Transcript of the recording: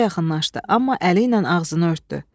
Qoca yaxınlaşdı, amma əli ilə ağzını örtdü.